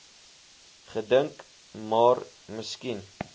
gedink maar miskien